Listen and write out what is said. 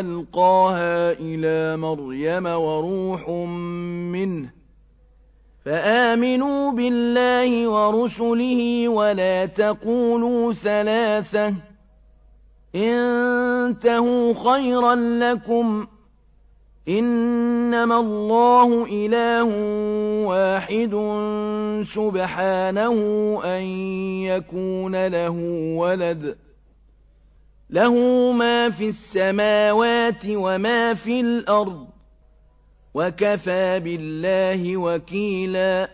أَلْقَاهَا إِلَىٰ مَرْيَمَ وَرُوحٌ مِّنْهُ ۖ فَآمِنُوا بِاللَّهِ وَرُسُلِهِ ۖ وَلَا تَقُولُوا ثَلَاثَةٌ ۚ انتَهُوا خَيْرًا لَّكُمْ ۚ إِنَّمَا اللَّهُ إِلَٰهٌ وَاحِدٌ ۖ سُبْحَانَهُ أَن يَكُونَ لَهُ وَلَدٌ ۘ لَّهُ مَا فِي السَّمَاوَاتِ وَمَا فِي الْأَرْضِ ۗ وَكَفَىٰ بِاللَّهِ وَكِيلًا